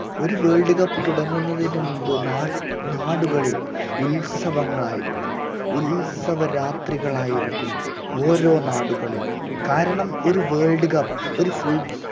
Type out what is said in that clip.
ഒരു world cup തുടങ്ങുന്നതിന് മുമ്പ് നാ നാടുകളിൽ ഉത്സവങ്ങളായിരിക്കും ഉത്സവരാത്രികളായിരിക്കും ഓരോ നാടുകളിലും കാരണം ഒരു world cup ഒരു